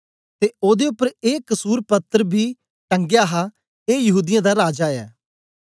ते ओदे उपर ए कसुरपत्र बी टंगया हा ए यहूदीयें दा राजा ऐ